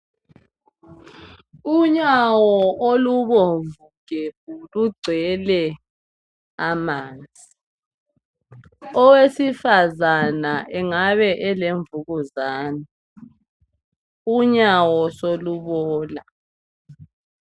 Unyawo olubomvu gebhu lugcwele amanzi. Owesifazana engabe elemvukuzane, unyawo solubola.